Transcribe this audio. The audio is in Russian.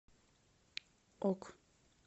ок